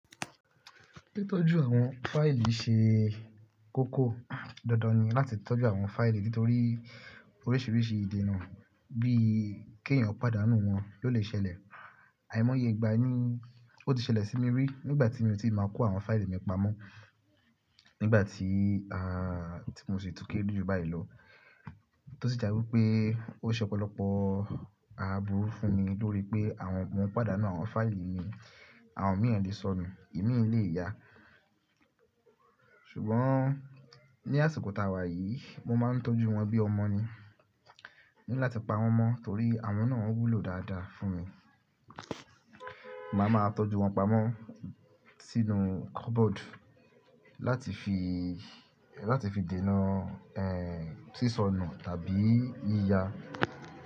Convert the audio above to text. Títọ́jú àwọn fáìlì ṣe kókó, dandan ni láti tọ́jú àwọn fáìlì nítorí oríṣiríṣi ìdènà bí i kí ẹ̀yàn pàdá nù wọn ló lè ṣẹlẹ̀. Àìmọye ìgbà ni ó ti ṣẹlẹ̀ sí mi rí nígbà tí mi ò tí ì máa kó àwọn fáìlì mi pamọ́ nígbà tí, mo sì tún kéré jù báyìí lọ, tó sì já wípé ó ṣe ọ̀pọ̀lọpọ̀ aburú fún mi nítorí pé mò ń pàdánù àwọn fáìlì mi, àwọn míràn le sọnù, ìmí lè ya. Ṣùgbọ́n ní àsìkò tàwà yìí mo máa ń tọ́jú wọn bí ọmọ ni, mo ní láti pa wọn mọ́ torí àwọn náà ń wúlò dáadáa fún mi. Màá ma tọ́jú wọn pamọ́ sínú cupboard láti fi, láti fi dènà, sísọnù tàbí yíya.